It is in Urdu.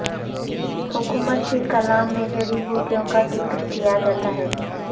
حکمت کے کلام میں جڑی بوٹیوں کا ذکر کیا جاتا ہے